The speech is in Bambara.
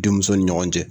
Denmuso ni ɲɔgɔn cɛ